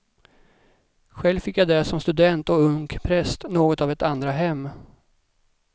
Själv fick jag där som student och ung präst något av ett andra hem.